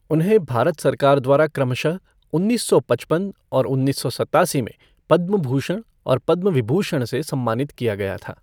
उन्हें भारत सरकार द्वारा क्रमशः उन्नीस सौ पचपन और उन्नीस सौ सत्तासी में पद्म भूषण और पद्म विभूषण से सम्मानित किया गया था।